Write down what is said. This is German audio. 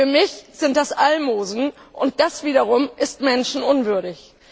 Für mich sind das Almosen, und das wiederum ist menschenunwürdig.